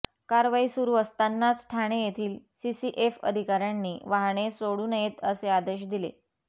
कारवाई सुरू असतानाच ठाणे येथील सीसीएफ अधिकाऱ्यांनी वाहने सोडू नयेत असे आदेश दिले